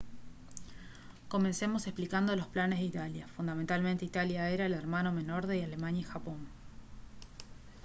comencemos explicando los planes de italia. fundamentalmente italia era el «hermano menor» de alemania y japón